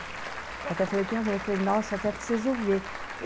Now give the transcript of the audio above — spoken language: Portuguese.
Eu até falei para minha mãe, eu falei, nossa, eu até preciso ver.